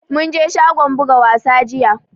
Mun je shagon buga wasa jiya